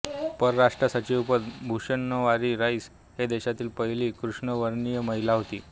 परराष्ट्रसचिवपद भुषवणारी राईस ही देशातील पहिली कृष्णवर्णीय महिला होती